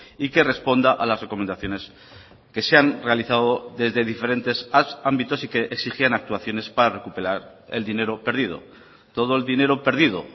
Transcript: y que responda a las recomendaciones que se han realizado desde diferentes ámbitos y que exigían actuaciones para recuperar el dinero perdido todo el dinero perdido